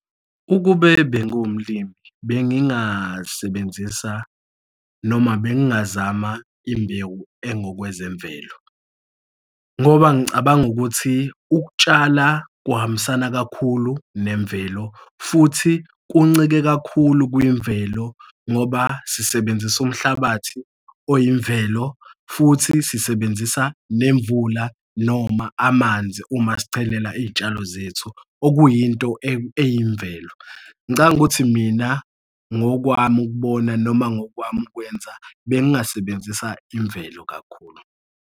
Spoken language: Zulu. Ukube bengiwumlimi bengingasebenzisi noma bengingazama imbewu engokwezemvelo. Ngoba ngicabanga ukuthi ukutshala kuhambisana kakhulu nemvelo futhi kuncike kakhulu kwimvelo ngoba sisebenzise umhlabathi okuyimvelo futhi sisebenzisa nemvula noma amanzi uma sichelela iy'tshalo zethu okuyinto eyimvelo. Ngicabanga ukuthi mina ngokwami ukubona noma ngokwami ukwenza bengasebenzisa imvelo kakhulu.